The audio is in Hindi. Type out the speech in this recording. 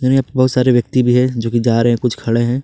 यहां पे बहुत सारे व्यक्ति भी है जो कि जा रहे हैं कुछ खड़े हैं।